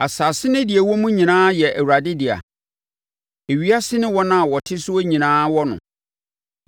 Asase ne deɛ ɛwɔ mu nyinaa yɛ Awurade dea; ewiase ne wɔn a wɔte soɔ nyinaa wɔ no;